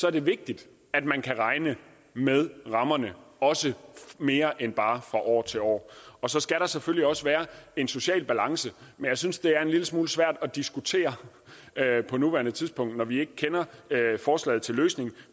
er det vigtigt at man kan regne med rammerne også mere end bare fra år til år så skal der selvfølgelig også være en social balance men jeg synes det er en lille smule svært at diskutere på nuværende tidspunkt når vi ikke kender forslaget til løsningen